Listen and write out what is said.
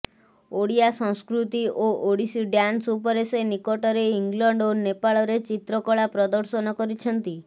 ଓଡ଼ିଆ ସଂସ୍କୃତି ଓ ଓଡ଼ିଶୀ ଡ୍ୟାନ୍ସ ଉପରେ ସେ ନିକଟରେ ଇଂଲଣ୍ଡ ଓ ନେପାଳରେ ଚିତ୍ରକଳା ପ୍ରଦର୍ଶନ କରିଛନ୍ତି